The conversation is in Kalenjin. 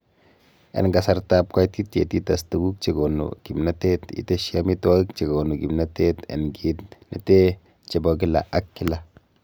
En kasartab koititiet ites tuguk chekonu kimnotet, itesyi amitwogik chekonu kimnotet en kit nete chebo kila ak kila.